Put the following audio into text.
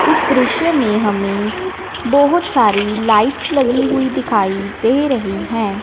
इस दृश्य में हमें बहोत सारी लाइट्स लगी हुईं दिखाई दे रहीं हैं।